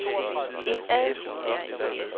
indad